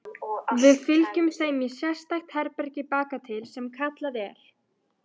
Við fylgjum þeim í sérstakt herbergi bakatil sem kallað er